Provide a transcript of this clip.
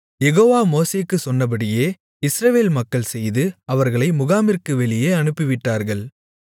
யெகோவா மோசேக்குச் சொன்னபடியே இஸ்ரவேல் மக்கள் செய்து அவர்களை முகாமிற்கு வெளியே அனுப்பிவிட்டார்கள்